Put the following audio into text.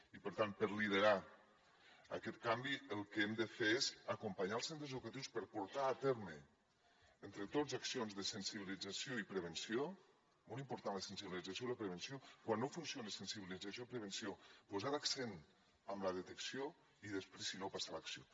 i per tant per liderar aquest canvi el que hem de fer és acompanyar els centres educatius per portar a terme entre tots accions de sensibilització i prevenció molt important la sensibilització i la prevenció i quan no funcionen la sensibilització i la prevenció posar l’accent en la detecció i després si no passar a l’acció